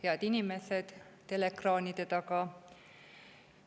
Head inimesed teleekraanide taga!